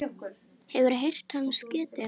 Hefurðu heyrt hans getið?